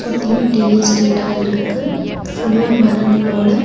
சுத்தியு டீ எஸ்டேட்டா இருக்கு. ஃபுல்லா மரங்களோட.